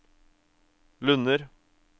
Lunner